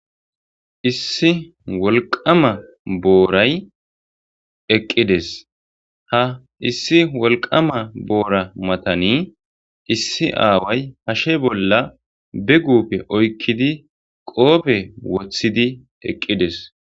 issi wolqama booray eqqides ha issi wolqama boora matani issi aaway hashe bolla be guppe oykkidi qoope woththidi eqqides